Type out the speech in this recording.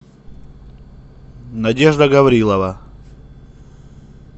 надежда гаврилова